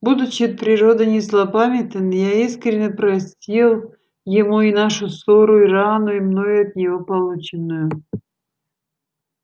будучи от природы не злопамятен я искренно простил ему и нашу ссору и рану и мною от него полученную